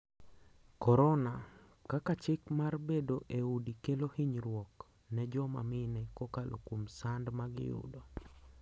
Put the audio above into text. Korona: Kaka chik mar bedo e udi kelo hinyruok ne joma mine kokalo kuom sand magiyudo.